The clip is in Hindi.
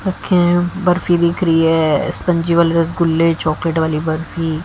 ओके बर्फी दिख रही है स्पंजी वाले रसगुल्ले चॉकलेट वाली बर्फी।